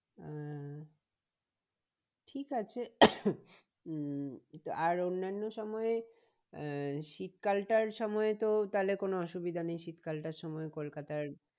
আহ ঠিক আছে উম আর অন্যান্য সময়ে আহ শীত কালটার সময়ে তো তাহলে কোনো অসুবিধা নেই শীত কালটার সময় কলকাতার